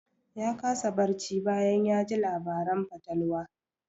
Ya kasa barci bayan ya ji labaran fatalwa.